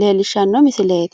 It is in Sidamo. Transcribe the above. leelshanno misileet